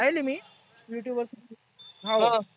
पाहेल आहे मी Youtube वर. हा.